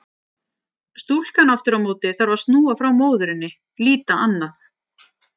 Stúlkan aftur á móti þarf að snúa frá móðurinni, líta annað.